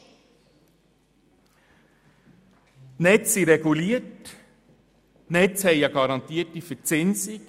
Die Netze sind reguliert und haben eine garantierte Verzinsung.